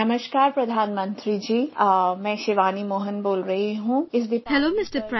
"Hello Mr